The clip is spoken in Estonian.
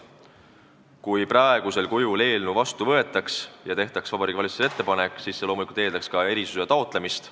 Kui praegusel kujul eelnõu vastu võetaks ja tehtaks Vabariigi Valitsusele sellesisuline ettepanek, siis see loomulikult eeldaks erisuse taotlemist.